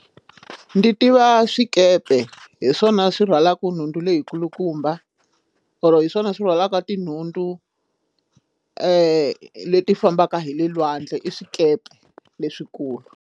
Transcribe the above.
Ndi tiva swikepe hi swona swi rhwalaka nhundu leyi kulukumba or hi swona swi rhwalaka tinhundu leti fambaka hi le lwandle i swikepe leswikulu.